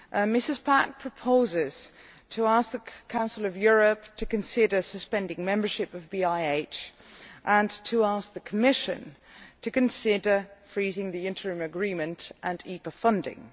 Ms Pack proposes asking the Council of Europe to consider suspending membership of BIH and asking the Commission to consider freezing the interim agreement and IPA funding.